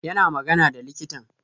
Yana magana da likitan